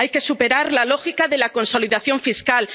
Europeo. Hay que superar la lógica de la consolidación